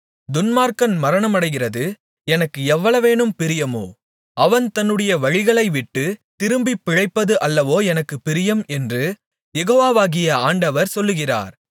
துன்மார்க்கன் மரணமடைகிறது எனக்கு எவ்வளவேனும் பிரியமோ அவன் தன்னுடைய வழிகளை விட்டுத் திரும்பிப் பிழைப்பது அல்லவோ எனக்குப் பிரியம் என்று யெகோவாகிய ஆண்டவர் சொல்லுகிறார்